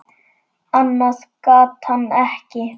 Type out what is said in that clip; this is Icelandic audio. Annað gat hann ekki.